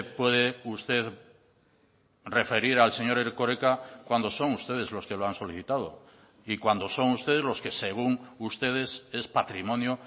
puede usted referir al señor erkoreka cuando son ustedes los que lo han solicitado y cuando son ustedes los que según ustedes es patrimonio